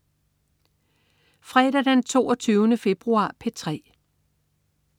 Fredag den 22. februar - P3: